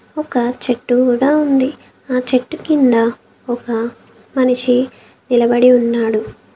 ఒక చెట్టు గుడా ఉంది ఆ చెట్టు కింద ఒక మనిషి నిలబడి ఉన్నాడు.